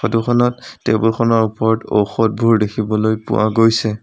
Photo খনত table খনৰ ওপৰত ঔষধবোৰ দেখিবলৈ পোৱা গৈছে।